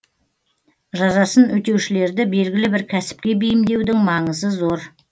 жазасын өтеушілерді белгілі бір кәсіпке бейімдеудің маңызы зор